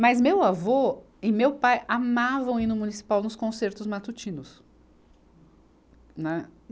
Mas meu avô e meu pai amavam ir no municipal nos concertos matutinos. Né